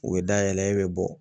U bɛ dayɛlɛ e bɛ bɔ